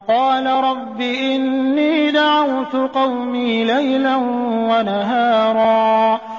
قَالَ رَبِّ إِنِّي دَعَوْتُ قَوْمِي لَيْلًا وَنَهَارًا